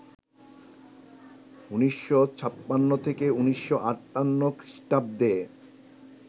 ১৯৫৬ থেকে ১৯৫৮ খ্রিষ্টাব্দে